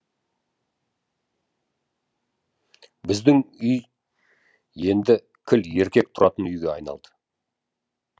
біздің үй енді кіл еркек тұратын үйге айналды